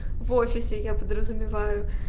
в офисе я подразумеваю